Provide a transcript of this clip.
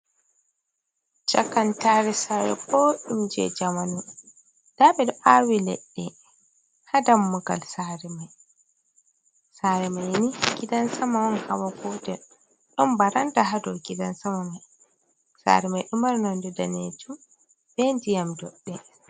chakantare sare ɓoɗɗum je jamanu. Nda ɓeɗo awi leɗɗe ha dammugal sare mai. Sare mai ni gidan sama on hawa gotel ɗon baranda ha dou gidan sama mai. Sare mai ɗomari nonde danejum be ndiyam doɗɗe.